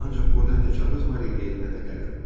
Ancaq burda nə kağız var idi, nə də qələm.